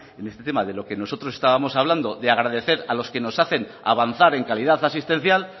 en este tema de lo que nosotros estábamos hablando de agradecer a los que nos hacen avanzar en calidad asistencial